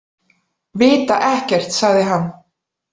Vita ekkert, sagði hann.